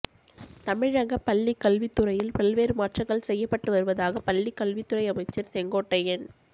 தமிழக பள்ளிக் கல்வித்துறையில் பல்வேறு மாற்றங்கள் செய்யப்பட்டு வருவதாக பள்ளிக் கல்வித்துறை அமைச்சர் செங்கோட்டையன்